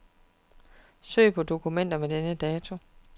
Søg på dokumenter med denne dato.